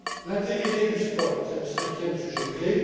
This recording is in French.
L'intégrité du sport est le cinquième sujet clé.